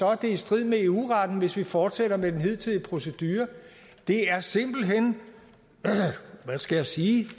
er i strid med eu retten hvis vi fortsætter med den hidtidige procedure det er simpelt hen hvad skal jeg sige